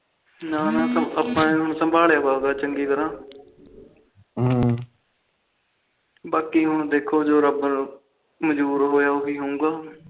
ਹਮ ਬਾਕੀ ਹੁਣ ਦੇਖੋ ਜੋ ਰੱਬ ਨੂੰ ਮਨਜੂਰ ਹੋਇਆ